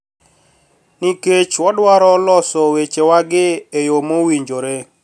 Nikech wadwaro loso wechewagi e yo mowinjore